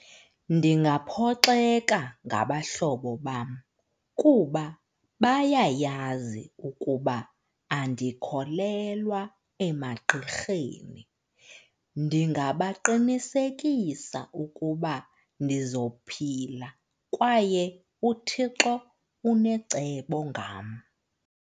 Ndingaphoxeka ngabahlobo bam kuba bayayazi ukuba andikholelwa emagqirheni. Ndingabaqinisekisa ukuba ndizophila kwaye uThixo unecebo ngam.